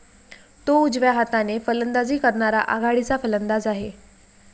तो उजव्या हाताने फलंदाजी करणारा आघाडीचा फलंदाज आहे.